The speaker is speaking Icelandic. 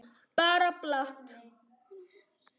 Bara plat.